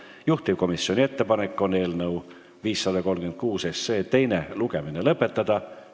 Juhtivkomisjoni ettepanek on eelnõu 536 teine lugemine lõpetada.